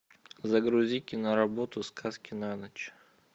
загрузи киноработу сказки на ночь